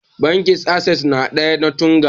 Bankin assess na da ya na Tunga